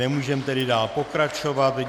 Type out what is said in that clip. Nemůžeme tedy dál pokračovat.